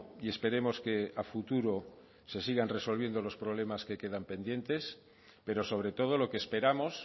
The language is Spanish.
y esperemos que a futuro se sigan resolviendo los problemas que quedan pendientes pero sobre todo lo que esperamos